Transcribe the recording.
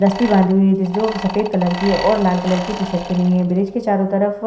रस्सी बाँधी हुई है जो सफेद कलर की और लाल कलर की टी-शर्ट पहनी हुई है। ब्रिज के चारों तरफ --